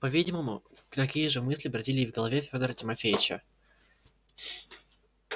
по-видимому такие же мысли бродили и в голове фёдора тимофеича